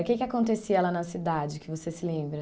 O que que acontecia lá na cidade que você se lembra?